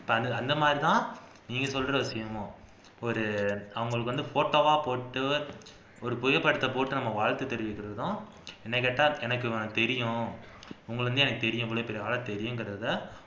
இப்ப அந்த மாதிரி தான் நீங்க சொல்ற விசயமும் ஒரு அவங்களுக்கு வந்து photo ஆ போட்டு ஒரு புகை படத்தை போட்டு நாம் வாழ்த்து தெரிவிக்கிறதும் என்னை கேட்டா எனக்கு இவனை தெரியும் இவ்வளவு பெரிய ஆளை தெரியும்ங்கிறதை